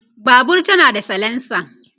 Babur tana da salensa